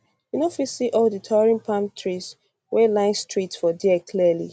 you no fit see all di towering palm towering palm trees wey line streets for dia clearly